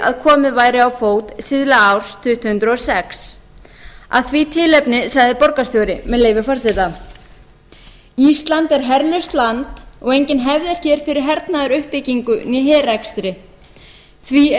að komið væri á fót síðla árs tvö þúsund og sex að því tilefni sagði borgarstjóri með leyfi forseta ísland er herlaust land og engin hefð er hér fyrir hernaðaruppbyggingu né herrekstri því er